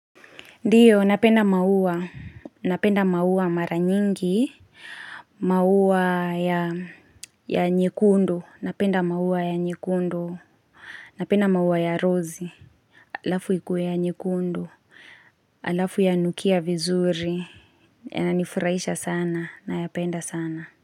Ndiyo napenda maua, napenda maua mara nyingi, maua ya nyekundu, napenda maua ya nyekundu, napenda maua ya rozi, halafu ikuwe ya nyekundu, halafu yanukia vizuri, yananifurahisha sana, nayapenda sana.